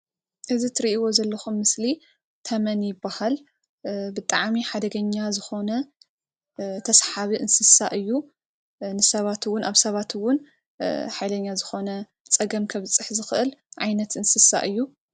እዚ እትርኢይዎ ዘለኩም ምስሊ ተመን ይበሃል ብጣዐሚ ሓደገኛ ዝኮነ ተሰሓቢ እንስሳ እዩ ንሰባት እውን ሓይለኛ ዝኮነ ፀገም ካብፅሕ ዝክእል ዓይነት እንሰሳ እዩ።